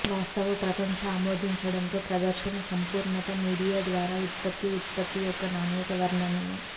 వాస్తవ ప్రపంచ ఆమోదించడంతో ప్రదర్శన సంపూర్ణత మీడియా ద్వారా ఉత్పత్తి ఉత్పత్తి యొక్క నాణ్యత వర్ణనను